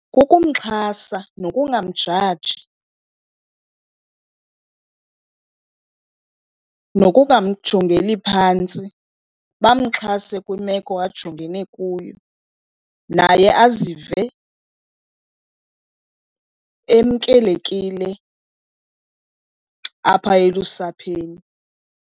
Kukumxhasa nokungamjaji, nokungamjongeli phantsi, bamxhase kwimeko ajongene kuyo naye azive emkelekile apha elusapheni.